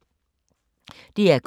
DR K